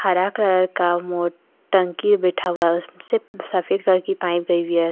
हरा कलर का टंकी बैठा हुआ है उसमें से सफेद कलर की पाइप गई हुई है।